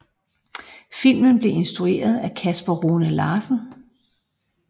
Filmen blev instrueret af Kasper Rune Larsen